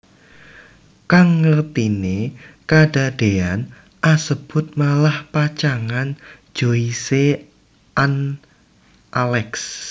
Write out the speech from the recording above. Kang ngerteni kadadean asebut malah pacangan Joyce an Alex